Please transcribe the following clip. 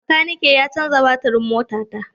Makanikin ya canza batirin motata.